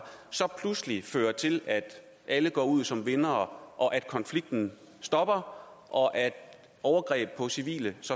pludselig fører til at alle går ud som vindere og at konflikten stopper og at overgreb på civile